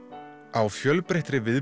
á fjölbreyttri